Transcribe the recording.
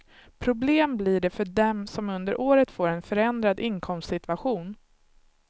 Problem blir det för dem som under året får en förändrad inkomstsituation.